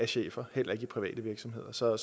chefer heller ikke i private virksomheder så